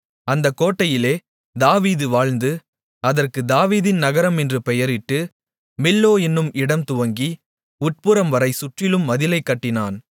அந்தக் கோட்டையிலே தாவீது வாழ்ந்து அதற்குத் தாவீதின் நகரம் என்று பெயரிட்டு மில்லோ என்னும் இடம் துவங்கி உட்புறம்வரை சுற்றிலும் மதிலைக் கட்டினான்